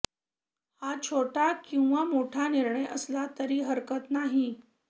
हा छोटा किंवा मोठा निर्णय असला तरी हरकत नाही